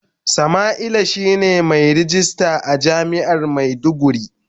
Samaila shine mai ragista a jami'ar maiduguri.